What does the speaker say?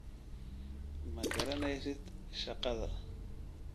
Ma garanaysid shaqada